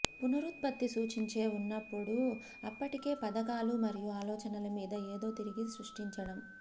పునరుత్పత్తి సూచించే ఉన్నప్పుడు అప్పటికే పథకాలు మరియు ఆలోచనల మీద ఏదో తిరిగి సృష్టించడం